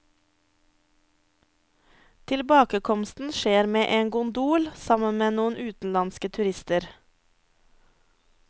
Tilbakekomsten skjer med gondol sammen med noen utenlandske turister.